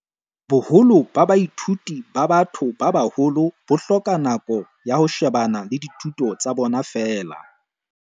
"Boholo ba baithuti ba ba-tho ba baholo bo hloka nako ya ho shebana le dithuto tsa bona feela."